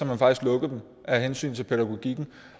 man faktisk lukker af hensyn til pædagogikken